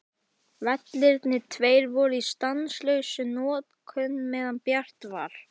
Vellirnir tveir voru í stanslausri notkun meðan bjart var.